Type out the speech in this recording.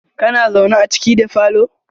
kana zaune a ciki da falo?